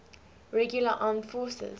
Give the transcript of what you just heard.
regular armed forces